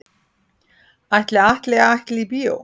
Ætli Atli ætli í bíó?